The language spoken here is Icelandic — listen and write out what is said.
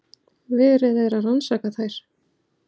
Verið er að rannsaka þær